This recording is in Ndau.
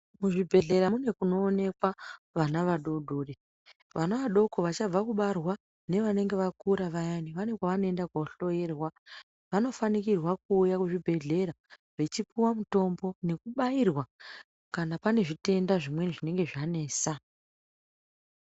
Muzvibhedhlera mune kuonekwa vana vadoodori, vana vadoko vachabve kubarwa nevange vakura vayani kune kwanoenda kunohloerwa vanofanirwa kuuya kuzvibhedhlera vechipuwa mutombo nekubairwa kana paine zvitenda zvinenge zvanesa